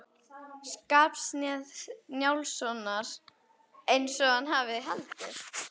Skarphéðins Njálssonar eins og hann hafði haldið.